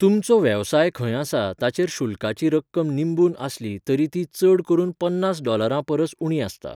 तुमचो वेवसाय खंय आसा ताचेर शुल्काची रक्कम निंबून आसली तरी ती चड करून पन्नास डॉलरां परस उणी आसता.